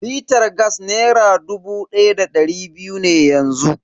Litar gas nera dubu da dari biyu ne yanzu.